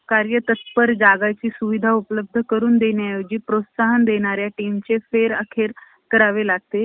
विधवा विवाहाचा सतत पुरस्कार करणे, यामुळे कर्वे केवळ स्व~ अं स्वकीयांच्याच नव्हे तर अनेक परिचयाच्या रोषात,